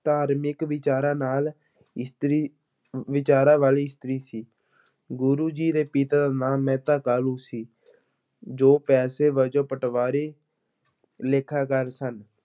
ਧਾਰਮਿਕ ਵਿਚਾਰਾਂ ਨਾਲ ਵਿਚਾਰਾਂ ਵਾਲੀ ਇਸਤਰੀ ਸੀ, ਗੁਰੂ ਜੀ ਦੇ ਪਿਤਾ ਦਾ ਨਾਂ ਮਹਿਤਾ ਕਾਲੂ ਸੀ, ਜੋ ਪੇਸ਼ੇ ਵਜੋਂ ਪਟਵਾਰੀ ਲੇਖਾਕਾਰ ਸਨ।